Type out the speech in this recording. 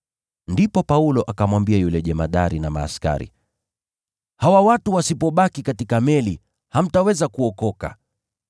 Ndipo Paulo akamwambia yule jemadari na askari, “Hawa watu wasipobaki katika meli, hamtaweza kuokoka.”